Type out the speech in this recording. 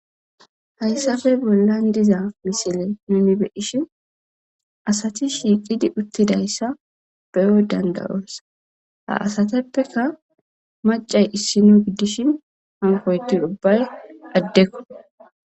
hayssappe bollan diza misile mimibeishin asati shiiqidi uttidayssa beyo dandayos, ha asateppeka macay issino giddishin hankoyti ubbay addekko.